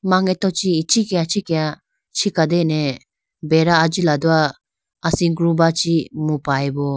Mangeto chi ichikhiah ichikhiah chikatene beda ajila do asigrumba chi mupayibo.